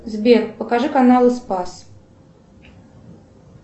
сбер покажи каналы спас